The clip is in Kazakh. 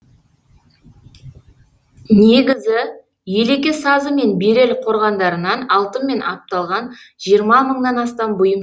негізі елеке сазы мен берел қорғандарынан алтынмен апталған жиырма мыңнан астам бұйым